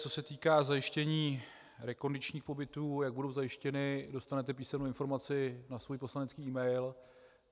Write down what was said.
Co se týká zajištění rekondičních pobytů, jak budou zajištěny, dostanete písemnou informaci na svůj poslanecký mail.